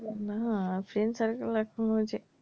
না friend circle আর কোনো যে,